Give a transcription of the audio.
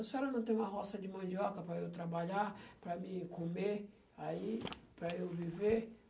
A senhora não tem uma roça de mandioca para eu trabalhar, para mim comer, aí, para eu viver?